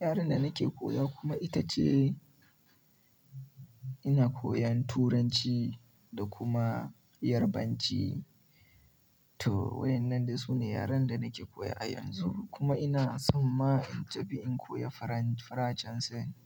Yaren da nake koya kuma ita ce ina koyan Turanci da kuma Yarbanci. Toh, waɗannan dai su ne yaren da nake koya a yanzu kuma ina san ma in tafi in koya Faransanci.